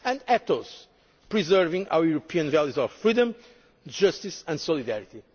suffering the most and ethos implies preserving our European values of freedom, justice,